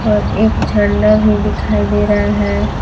और एक झंडा भी दिखाई दे रहा है।